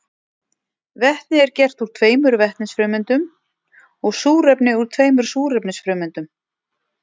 Vetni er gert úr tveimur vetnisfrumeindum og súrefni úr tveimur súrefnisfrumeindum.